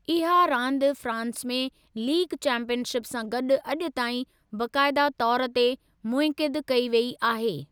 इहा रांदि फ़्रांस में लीग चैंपीयनशिप सां गॾु अॼु ताईं बाक़ायदा तौर ते मुनइक़िद कई वेई आहे।